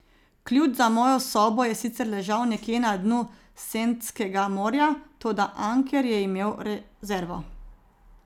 Ključ za mojo sobo je sicer ležal nekje na dnu Sentskega morja, toda Anker je imel rezervo.